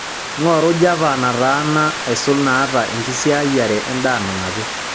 ng'oru java nataana aisul naata enkisiayiare endaa nanapi